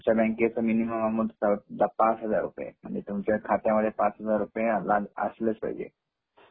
आमच्या बँकेचे minimum amount पाच हजार रुपये आहे.म्हणजे तुमच्या खात्यामध्ये पाच हजार रुपये असलेच पाहिजे